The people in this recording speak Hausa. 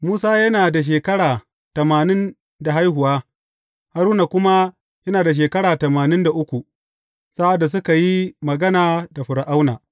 Musa yana da shekara tamanin da haihuwa, Haruna kuma yana da shekara tamanin da uku, sa’ad da suka yi magana da Fir’auna.